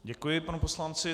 Děkuji panu poslanci.